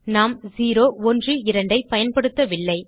நாம் 012 ஐ பயன்படுத்தவில்லை